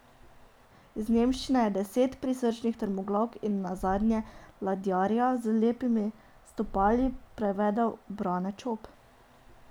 Iz nemščine je Deset prisrčnih trmoglavk in nazadnje Ladjarja z lepimi stopali prevedel Brane Čop.